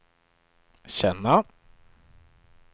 känna